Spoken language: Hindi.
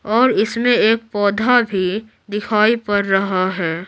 और इसमें एक पौधा भी दिखाई पड़ रहा है।